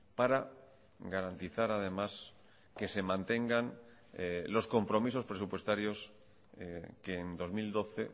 para garantizar además que se mantengan los compromisos presupuestarios que en dos mil doce